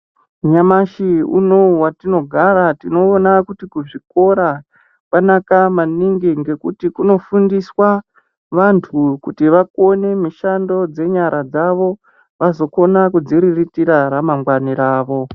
Nyamashi unou watinogara tinoona kuti kuzvikora kwanaka maningi ngekuti kunofundiswa vantu kuti vakone mishando dzenyara dzavo vazokona kudziriritira ramangwani ravo.